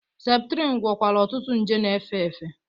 Septrin gwọkwara ọtụtụ nje na-efe efe.